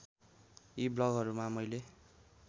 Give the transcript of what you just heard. यी ब्लगहरूमा मैले